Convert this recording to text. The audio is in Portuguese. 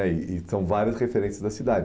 É E são várias referências da cidade.